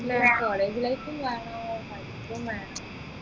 നല്ലൊരു college life ഉം വേണം പഠിപ്പും വേണം